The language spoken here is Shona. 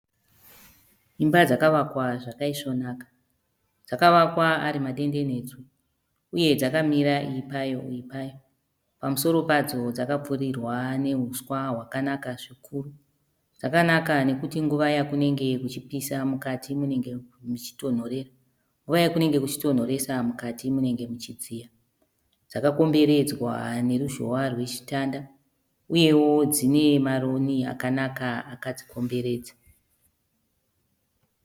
Imba dzakavakwa zvakaisvonaka. Dzavavakwa ari madenderedzwa uye dzakamira iyi payo iyi payo. Pamusoro padzo dzakapfirirwa nehuswa hwakanaka zvikuru. Dzakanaka nekuti nguva yakunenge kuchipisa mukati munenge muchitinhorera, nguva yakunenge kuchitonhoresa mukati munenge muchidziya. Dzakakomberedzwa neruzhowa rwechitanda uyewo dzinemaroni akanaka akadzikomberedza